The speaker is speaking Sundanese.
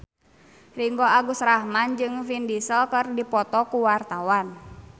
Ringgo Agus Rahman jeung Vin Diesel keur dipoto ku wartawan